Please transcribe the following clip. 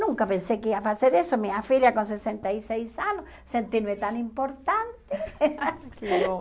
Nunca pensei que ia fazer isso, minha filha com sessenta e seis anos, sentindo-me tão importante. Que bom